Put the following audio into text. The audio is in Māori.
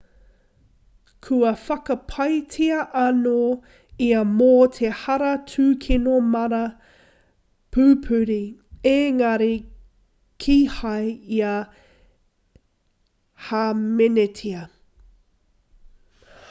kua whakapaetia anō ia mō te hara tūkino mana pupuri engari kīhai ia i hāmenetia